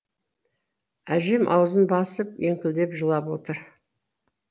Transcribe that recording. әжем аузын басып еңкілдеп жылап отыр